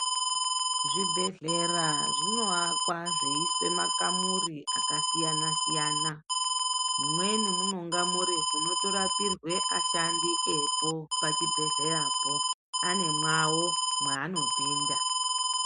Zvibhehlera zvinoakwa zveiiswe makamuri akasiyana-siyana. Mumweni munonga muri munotorapirwe ashandi epo pachibhehleyapo, anemwavo mwaanopinda.